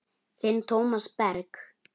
Þinn Tómas Berg.